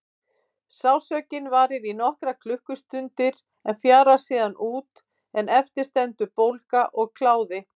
Sársaukinn varir í nokkrar klukkustundir en fjarar síðan út en eftir stendur bólga og kláði.